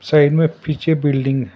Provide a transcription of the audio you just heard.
side में पीछे building --